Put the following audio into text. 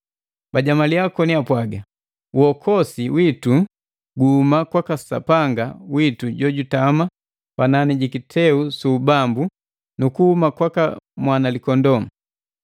Bajamalia koni apwaga, “Uokosi witu guhuma kwaka Sapanga witu jojutama panani ji kiteu su ubambu, nu kuhuma kwaka Mwanalikondoo!”